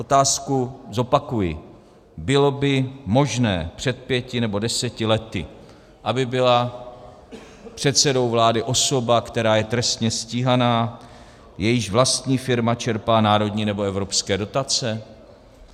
Otázku zopakuji: Bylo by možné před pěti nebo deseti lety, aby byla předsedou vlády osoba, která je trestně stíhaná, jejíž vlastní firma čerpá národní nebo evropské dotace?